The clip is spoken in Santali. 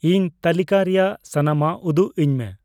ᱤᱧ ᱛᱟᱹᱞᱤᱠᱟ ᱨᱮᱭᱟᱜ ᱥᱟᱱᱟᱢᱟᱜ ᱩᱫᱩᱜ ᱟᱹᱧ ᱢᱮ